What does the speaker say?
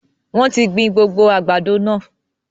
Wọn tí gbìn gbogbo àgbàdo náà.